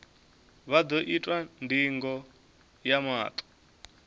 vha ḓo itwa ndingo ya maṱo